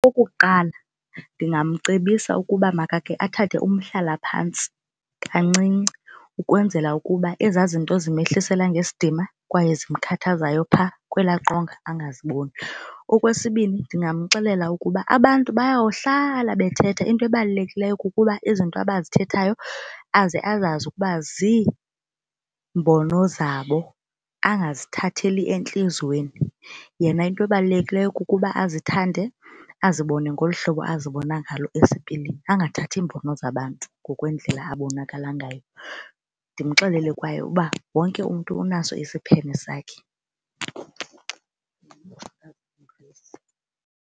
Okokuqala ndingamcebisa ukuba makake athathe umhlalaphantsi kancinci ukwenzela ukuba ezaa zinto zimehlisela ngesidima kwaye zimkhathazayo pha kwelaa qonga angaziboni. Okwesibini ndingamxelela ukuba abantu bayawuhlala bethetha, into ebalulekileyo uba izinto abazithethayo aze azazi ukuba ziimbono zabo angazithatheli entliziyweni. Yena into ebalulekileyo kukuba azithande azibone ngolu hlobo azibona bona ngalo esipilini angathathi iimbono zabantu ngokwendlela abonakala ngayo. Ndimxelele kwaye uba wonke umntu unaso isiphene sakhe .